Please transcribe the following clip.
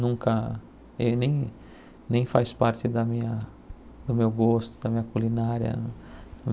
nunca... e nem nem faz parte da minha... do meu gosto, da minha culinária.